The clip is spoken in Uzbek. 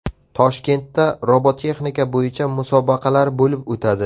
Toshkentda robototexnika bo‘yicha musobaqalar bo‘lib o‘tadi.